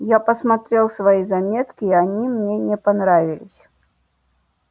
я посмотрел свои заметки и они мне не понравились